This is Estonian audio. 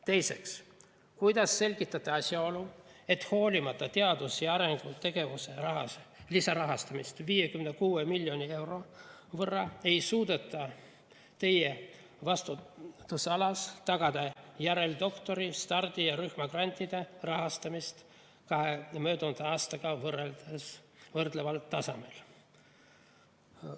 Teiseks, kuidas selgitate asjaolu, et hoolimata teadus‑ ja arendustegevuse lisarahastusest 56 miljoni euro võrra, ei suudeta teie vastutusalas tagada järeldoktori‑, stardi‑ ja rühmagrantide rahastamist ka möödunud aastaga võrreldaval tasemel?